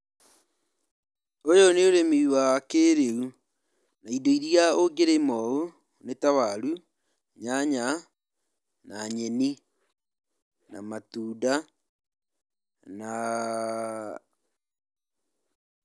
Uyũ nĩ urĩmĩ wa kĩrĩu na indo ĩria ungĩrĩma ũũ nita warũ, nyanya, nyenĩ na matunda ah.